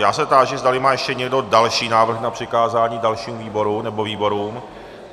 Já se táži, zdali má ještě někdo další návrh na přikázání dalšímu výboru nebo výborům.